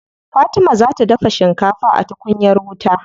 Fatima za ta dafa shikafa a tukunyar wuta.